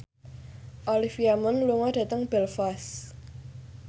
Olivia Munn lunga dhateng Belfast